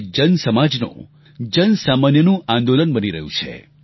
તે જન સમાજનું જનસામાન્યનું આંદોલન બની રહ્યું છે